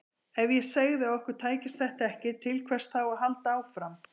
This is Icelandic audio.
Ef ég segði að okkur tækist þetta ekki, til hvers þá að halda áfram?